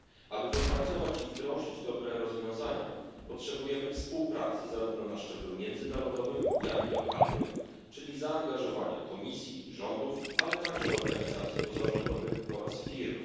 Aby wypracować i wdrożyć dobre rozwiązania, potrzebujemy współpracy zarówno na szczeblu międzynarodowym, jak i lokalnym, czyli zaangażowania Komisji, rządów, ale także organizacji pozarządowych oraz firm.